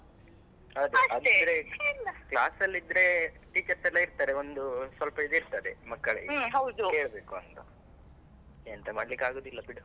ಅದೇ ಅಂದ್ರೆ. class ಅಲ್ಲಿದ್ರೆ teachers ಎಲ್ಲ ಇರ್ತದೆ ಒಂದು ಸ್ವಲ್ಪ ಇದ್ ಇರ್ತದೆ ಮಕ್ಕಳಿಗೆ, ಕೇಳ್ಬೇಕು ಅಂತ, ಎಂತ ಮಾಡ್ಲಿಕ್ಕೆ ಆಗುದಿಲ್ಲ ಬಿಡು.